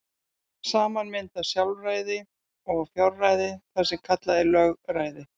Saman mynda sjálfræði og fjárræði það sem kallað er lögræði.